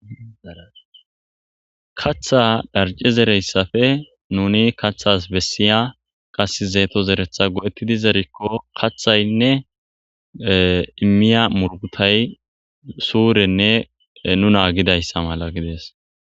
Katha dharci zereyssafe nuni kathas bessiya qasi zeeto zeretha go7ettidi zerikko kathaynne immiya murgutay suurenne nu naagidayssa mala gides.